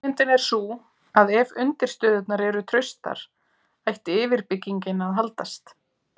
hugmyndin er sú að ef undirstöðurnar eru traustar ætti yfirbyggingin að haldast